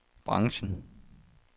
branchen